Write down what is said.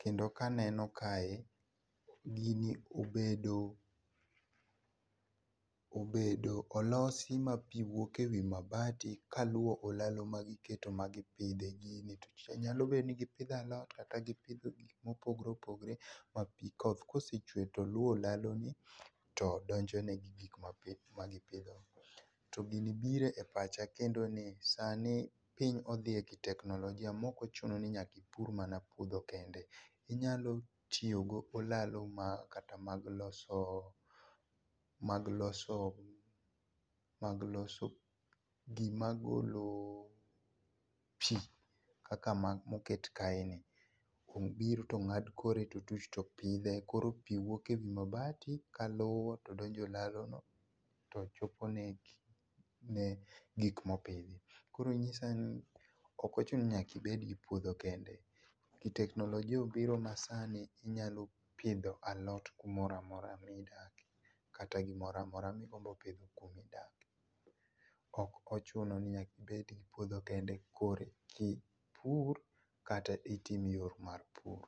kendo ka aneno kae, gini obedo, obedo olosi ma pii wuok e wii mabati kaluwo olalo magiketo mag gipidhe gini, nyalo bedo ni gipidho alot kata gipidho gik ma opogore opogore ma pii oth ka osechwe to luo olalo ni to donjone gik ma gipiho, to gini biro e pach kendo ni sani piny odhi e ki teknolojia maok ochuno ninyaka ipur mana puodho kende inyalo tiyo go olalo ma kata mag loso, mag lolo, mag loso gima golo pii kaka moket kae ni obiro to ongad kore totuch topidhe koro pii wuok ewi mabati kaluwo todonje olalo no tochopone gik ,gik ma opidhi, koro nyisani ok ochuno mondo nyaka bed gi puodho kende ki teknolojia obiro ma sani inyalo pidho alot kamoro amora midake kata gimoro amora migombo pidho kuma idake ,ok ochuno ninyaka ibed gi puodh o kende korki ipur kata itim yor mar pur